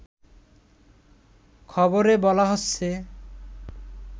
খবরে বলা হচ্ছে